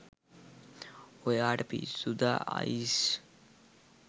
ඔයාට පිස්සුද අයිෂ්